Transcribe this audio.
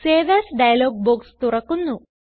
save as dialog box തുറക്കുന്നു